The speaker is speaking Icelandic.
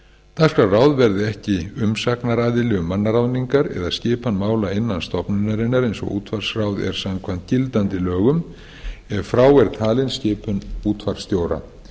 dagskrárráð verður ekki umsagnaraðili um mannaráðningar eða skipan mála innan stofnunarinnar eins og útvarpsráð er samkvæmt gildandi lögum ef frá er talin skipun útvarpsstjóra